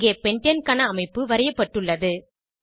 இங்கே பென்டேன் க்கான அமைப்பு வரையப்பட்டுள்ளது